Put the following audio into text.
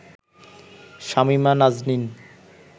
Shamima Naznin